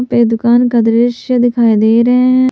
पे दुकान का दृश्य दिखाई दे रहे हैं।